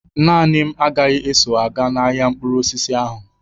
Naanị m agaghị eso aga n'ahia mkpụrụ osisi ahụ.